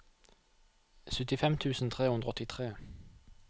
syttifem tusen tre hundre og åttitre